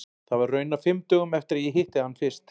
Það var raunar fimm dögum eftir að ég hitti hann fyrst.